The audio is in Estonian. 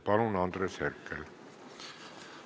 Palun, Andres Herkel!